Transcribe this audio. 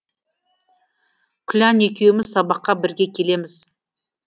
күлән екеуміз сабаққа бірге келеміз